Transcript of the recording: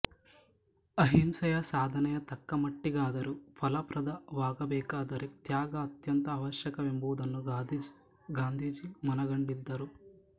ಅಹಿಂಸೆಯ ಸಾಧನೆ ತಕ್ಕ ಮಟ್ಟಿಗಾದರೂ ಫಲಪ್ರದವಾಗಬೇಕಾದರೆ ತ್ಯಾಗ ಅತ್ಯಂತ ಆವಶ್ಯಕವೆಂಬುದನ್ನು ಗಾಂಧೀಜಿ ಮನಗಂಡಿದ್ದರು